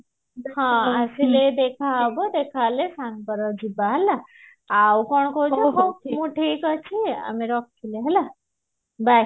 ହଁ ଆସିଲେ ଦେଖା ହବ ଦେଖ ଅହେଲ ସାଙ୍ଗରେ ଯିବା ହେଲା ଆଉ କଣ କହୁଛୁ ହଉ ମୁଁ ଠିକ ଅଛି ଆଉ ମୁଁ ରଖିଲି ହେଲା bye